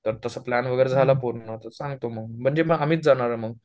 जर तसं प्लॅन वगैरे झाला पूर्ण तर सांगतो मग म्हणजे मग आम्ही जाणार आहे मंग